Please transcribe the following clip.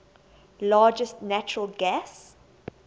largest natural gas